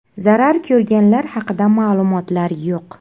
Zarar ko‘rganlar haqida ma’lumotlar yo‘q.